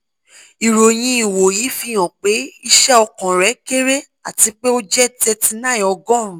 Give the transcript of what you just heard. iroyin iwoyi fihan pe iṣẹ ọkan rẹ kere ati pe o jẹ thirty nine ogorun